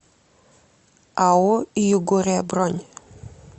ао югория бронь